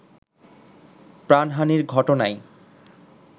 প্রাণহানির ঘটনায়